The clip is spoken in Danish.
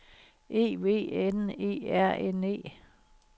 E V N E R N E